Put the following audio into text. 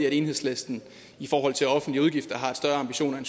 at enhedslisten i forhold til offentlige udgifter har større ambitioner end